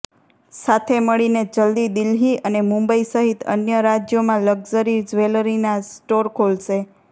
સાથે મળીને જલ્દી દિલ્હી અને મુંબઈ સહિત અન્ય રાજ્યોમાં લગ્ઝરી જ્વેલરીના સ્ટોર ખોલશે